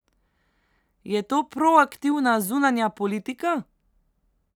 Je to proaktivna zunanja politika?